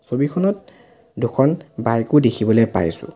ছবিখনত দুখন বাইক ও দেখিবলৈ পাইছোঁ।